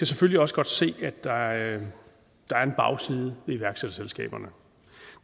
selvfølgelig også godt se at der er en bagside ved iværksætterselskaberne